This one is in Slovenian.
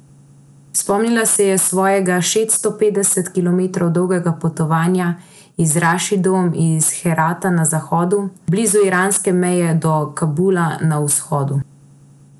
Spomnila se je svojega šeststo petdeset kilometrov dolgega potovanja z Rašidom iz Herata na zahodu, blizu iranske meje, do Kabula na vzhodu.